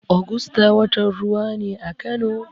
Ogusta watan ruwa ne a Kano.